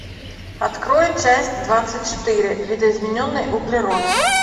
открой часть двадцать четыре видоизмененный углерод